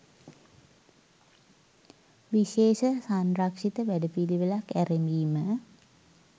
විශේෂ සංරක්ෂිත වැඩපිළිවෙළක් ඇරැඹීම